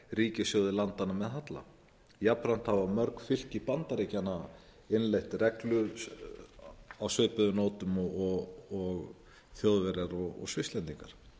ríkissjóði landanna með halla jafnframt hafa mörg fylgi bandaríkjanna innleitt reglu á svipuðum nótum og þjóðverjar og svisslendingar